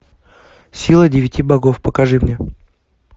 сила девяти богов покажи мне